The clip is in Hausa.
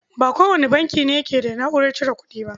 Ba kowane banki ba ne yake da na'urar cire kuɗi.